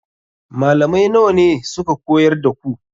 Malamai nawa ne suka koyar da ku?